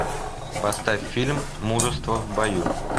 поставь фильм мужество в бою